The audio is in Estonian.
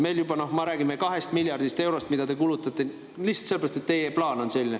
Me juba, noh, räägime 2 miljardist eurost, mis te kulutate lihtsalt sellepärast, et teie plaan on selline.